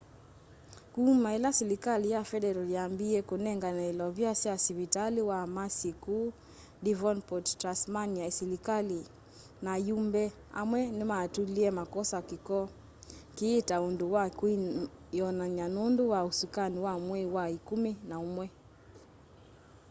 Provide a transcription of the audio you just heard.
kuma ila silikali ya federal yambiie kunengane ilovia sya sivitali wa mersey kuu devonport tasmania silikali na ayumbe amwe nimatulie makosa kiko kii ta undu wa kwiyonany'a nundu wa usakuani wa mwei wa ikumi na umwe